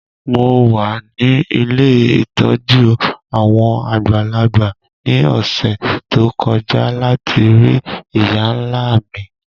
Mo wa ni ilé ìtójú àwon àgbàlagbà ni ọ̀ṣẹ̀ to kọja lati rii ìyá-nla mi.